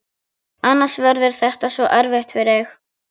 Annars verður þetta svo erfitt fyrir þig.